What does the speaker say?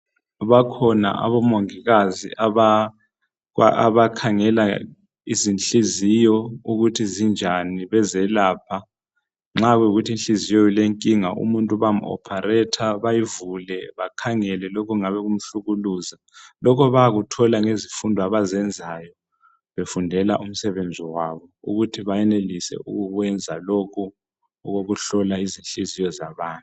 Bakhona abamongikazi abakhangela izinhliziyo ukuthi zinjani, be zelapha nxa ku yikuthi inhliziyo ilenkinga bayam opharetha bayivule bakhangele okungabe kumhlukuluza lokhu bayakuthola nge zifundo abazenzayo, befundela umsebenzi wabo ukuthi benelise ukukwenza lokhu ukuhlola inhliziyo zabantu.